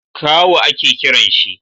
kawu a ke kiran shi?